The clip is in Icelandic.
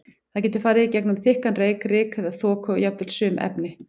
Það getur ferðast í gegnum þykkan reyk, ryk eða þoku og jafnvel sum efni.